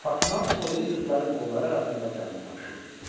Fatma o biri qızların qolları arasında canını tapşırır.